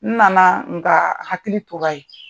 N nana nka hakili tora yen .